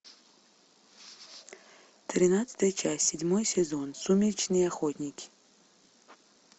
тринадцатая часть седьмой сезон сумеречные охотники